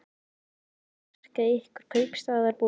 Annars er ekkert að marka ykkur kaupstaðarbúa.